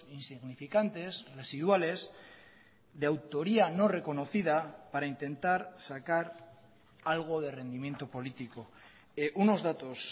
insignificantes residuales de autoría no reconocida para intentar sacar algo de rendimiento político unos datos